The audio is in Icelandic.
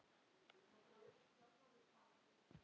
Bæði búa þau í Moskvu.